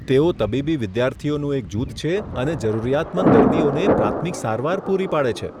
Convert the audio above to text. તેઓ તબીબી વિદ્યાર્થીઓનું એક જૂથ છે અને જરૂરિયાતમંદ દર્દીઓને પ્રાથમિક સારવાર પૂરી પાડે છે.